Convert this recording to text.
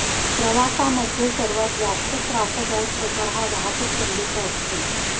प्रवासामध्ये सर्वात जास्त त्रासदायक प्रकार हा वाहतूक कोंडीचा असतो